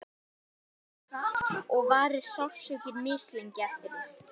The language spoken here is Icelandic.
bein gróa mishratt og varir sársauki mislengi eftir því